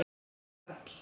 Jarl